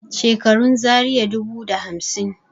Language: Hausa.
Shekarun Zaria dubu da hamsin